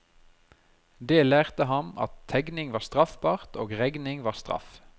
Det lærte ham at tegning var straffbart og regning var straff.